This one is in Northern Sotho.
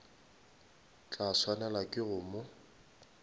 tla swanelwa ke go mo